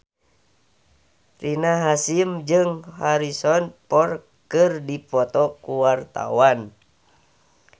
Rina Hasyim jeung Harrison Ford keur dipoto ku wartawan